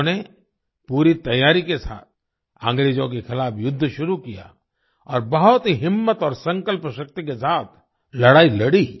उन्होंने पूरी तैयारी के साथ अंग्रेजों के खिलाफ़ युद्ध शुरू किया और बहुत ही हिम्मत और संकल्पशक्ति के साथ लड़ाई लड़ी